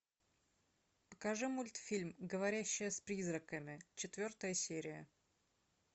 покажи мультфильм говорящая с призраками четвертая серия